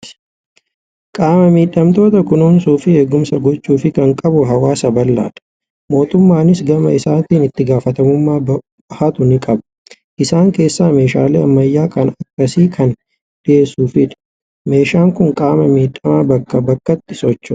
Qaama miidhamtoota kunuunsuu fi eegumsa gochuufii kan qabu hawaasaa bal'aadha. Mootummaanis gama isaatiin itti gaafatamummaa bahatu ni qaba. Isaan keessaa meeshaalee ammayyaa kan akkasii kana dhiyeessuufiinidha. Meeshaan kun qaama miidhamaa bakkaa bakkatti sochoosa.